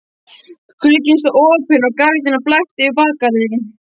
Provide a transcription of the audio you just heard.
Glugginn stóð opinn og gardínan blakti yfir bakgarðinn.